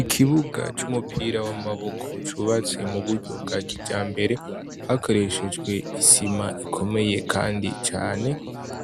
Ikibuga c' umupira w' amaboko cubatswe muburyo bwakijambere hakoreshejwe isima ikomeye kandi cane